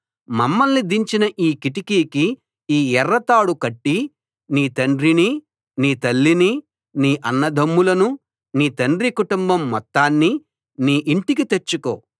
మమ్మల్ని దించిన ఈ కిటికీకి ఈ ఎర్ర తాడు కట్టి నీ తండ్రినీ నీ తల్లినీ నీ అన్నదమ్ములనూ నీ తండ్రి కుటుంబం మొత్తాన్నీ నీ ఇంటికి తెచ్చుకో